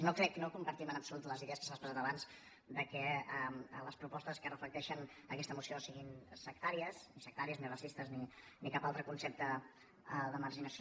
no crec no compartim en absolut les idees que s’han expressat abans que les propostes que reflecteixen aquesta moció siguin sectàries ni sectàries ni ra·cistes ni cap altre concepte de marginació